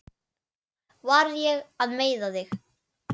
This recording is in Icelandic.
Var ég að meiða þig?